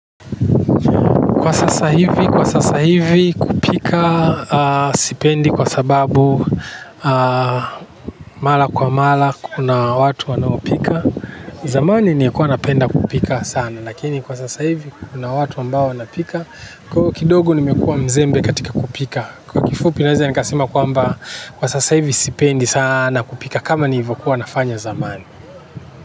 Kwa sasa hivi kupika sipendi kwa sababu mara kwa mara kuna watu wanao pika. Zamani nilikuwa napenda kupika sana. Lakini kwa sasa hivi kuna watu ambao wana pika. Kwa hiiyo kidogo nimekuwa mzembe katika kupika. Kwa kifupi naweza nikasema kwamba kwa sasa hivi sipendi sana kupika. Kama nilivokuwa nafanya zamani.